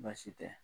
Baasi tɛ